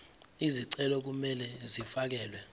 izicelo kumele zifakelwe